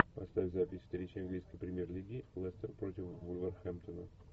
поставь запись встречи английской премьер лиги лестер против вулверхэмптона